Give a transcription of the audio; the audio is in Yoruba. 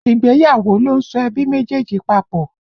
Ìgbéyàwó ló ń so ẹbí méjèèjì papọ̀